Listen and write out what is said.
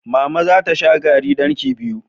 Mama za ta sha garri ɗankii biyu.